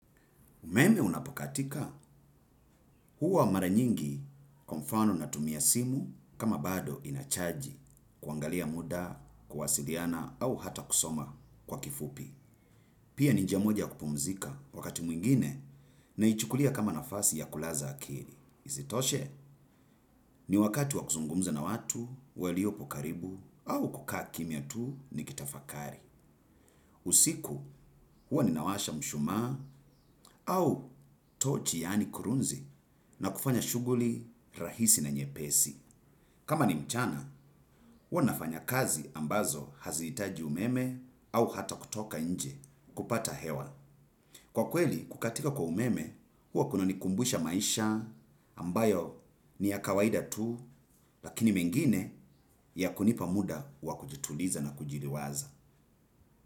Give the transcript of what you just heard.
Umeme unapokatika huwa mara nyingi kwa mfano natumia simu kama bado ina chaji kuangalia muda, kuwasiliana au hata kusoma kwa kifupi. Pia ni njia moja ya kupumzika wakati mwingine naichukulia kama nafasi ya kulaza akili. Isitoshe ni wakati waku zungumza na watu, waliopo karibu au kukaa kimya tuu ni kutafakari. Usiku huwa ninawasha mshumaa au tochi yani kurunzi na kufanya shughuli rahisi na nyepesi. Kama ni mchana hua nafanya kazi ambazo hazitaji umeme au hata kutoka nje kupata hewa. Kwa kweli kukatika kwa umeme huwa kuna nikumbusha maisha ambayo ni ya kawaida tu lakini mengine ya kunipa muda wa kujituliza na kujiliwaza.